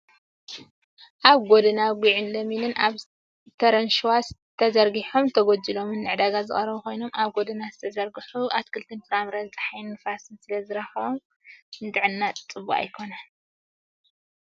ኣብ ጎደና ጉዕን ለሚንን ኣብ ተረንሸዋ ተዘርጊሖም ተጎጂሎም ንዕዳጋ ዝቀረቡ ኮይኖም ኣብ ጎደና ዝተዘርጉሑ ኣትክልትን ፍራምረን ፀሓይን ንፋስን ስለ ዝረክቦም ንጥዕና ደቂ ሰባት ሕማቅ እዩ።